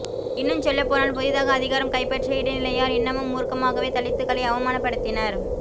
இன்னுஞ்சொல்லப்போனால் புதிதாக அதிகாரம் கைப்பற்றிய இடைநிலையார் இன்னமும் மூர்க்கமாகவே தலித்துக்களை அவமானப்படுத்தினர்